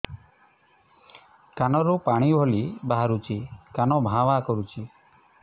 କାନ ରୁ ପାଣି ଭଳି ବାହାରୁଛି କାନ ଭାଁ ଭାଁ କରୁଛି